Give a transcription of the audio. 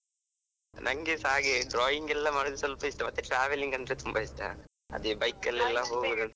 ನಂಗೆಸಾ ಹಾಗೆ drawing ಎಲ್ಲ ಮಾಡುದು ಸ್ವಲ್ಪ ಇಷ್ಟ ಮತ್ತೆ traveling ಅಂದ್ರೆ ತುಂಬಾ ಇಷ್ಟ, ಅದೇ bike ಅಲ್ಲಿ ಎಲ್ಲ .